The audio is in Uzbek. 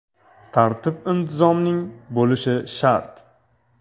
Tartib-intizomning bo‘lishi shart.